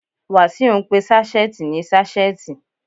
Wàsíù ń pe sáṣẹ́ẹ̀tì ní ṣásẹ́ẹ̀tì.